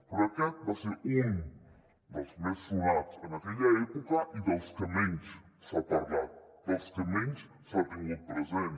però aquest va ser un dels més sonats en aquella època i dels que menys s’ha parlat dels que menys s’han tingut present